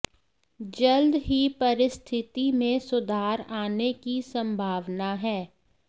जल्द ही परिस्थिति में सुधार आने की संभावना है